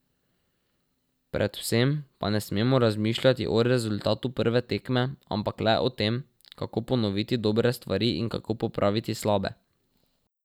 Predvsem pa ne smemo razmišljati o rezultatu prve tekme, ampak le o tem, kako ponoviti dobre stvari in kako popraviti slabe.